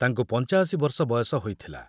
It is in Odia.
ତାଙ୍କୁ ପଞ୍ଚାଅଶି ବର୍ଷ ବୟସ ହୋଇଥିଲା।